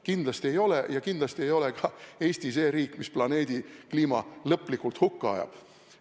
Kindlasti ei ole ja kindlasti ei ole ka Eesti see riik, mis planeedi kliima lõplikult hukka ajab.